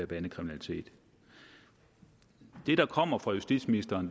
bandekriminalitet det der kommer fra justitsministeren